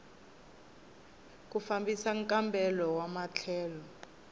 ku fambisa nkambelo wa matlhelo